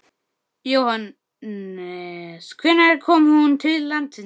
Jóhannes: Hvenær kom hún til landsins?